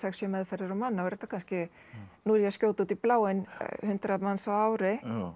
sjö meðferðir á mann þá er þetta kannski nú er ég að skjóta út í bláinn hundrað manns á ári